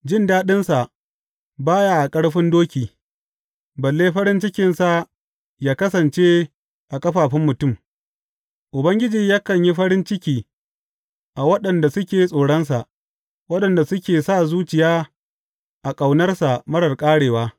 Jin daɗinsa ba ya a ƙarfin doki, balle farin cikinsa yă kasance a ƙafafun mutum; Ubangiji yakan yi farin ciki a waɗanda suke tsoronsa, waɗanda suke sa zuciya a ƙaunarsa marar ƙarewa.